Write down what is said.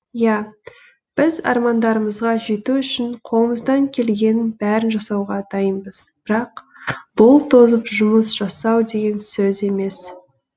иә біз армандарымызға жету үшін қолымыздан келгеннің бәрін жасауға дайынбыз бірақ бұл тозып жұмыс жасау деген сөз емес